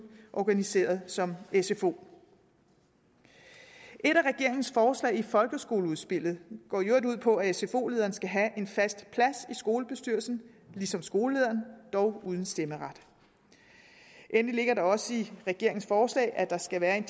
organiseret som sfo et af regeringens forslag i folkeskoleudspillet går i øvrigt ud på at sfo lederen skal have en fast plads i skolebestyrelsen ligesom skolelederen dog uden stemmeret endelig ligger der også i regeringens forslag at der skal være en